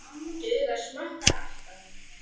Duga smokkar alltaf?